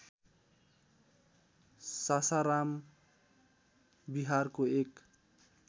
सासाराम बिहारको एक